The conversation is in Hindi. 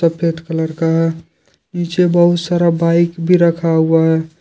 सफेद कलर का पीछे बहुत सारा बाइक भी रखा हुआ है।